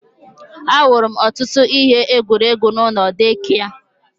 Ahụrụ m ọtụtụ ihe egwuregwu n'ụlọ deekia